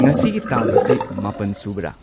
ꯉꯁꯤꯒꯤ ꯇꯥꯡ ꯑꯁꯤ ꯃꯥꯄꯟ ꯁꯨꯕꯔꯥ